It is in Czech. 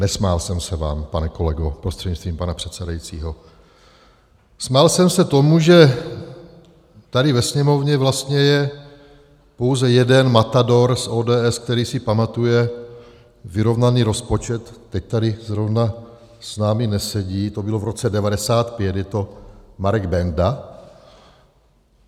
Nesmál jsem se vám, pane kolego, prostřednictvím pana předsedajícího, smál jsem se tomu, že tady ve Sněmovně vlastně je pouze jeden matador z ODS, který si pamatuje vyrovnaný rozpočet - teď tady zrovna s námi nesedí, to bylo v roce 1995, je to Marek Benda.